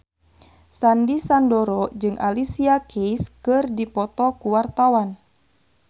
Sandy Sandoro jeung Alicia Keys keur dipoto ku wartawan